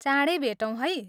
चाँडै भेटौँ है!